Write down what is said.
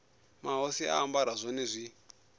mahosi a ambara zwone zwi